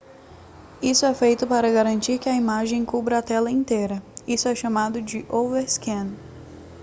isso é feito para garantir que a imagem cubra a tela inteira isso é chamado de overscan